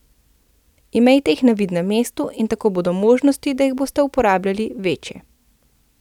Imejte jih na vidnem mestu in tako bodo možnosti, da jih boste uporabljali, večje.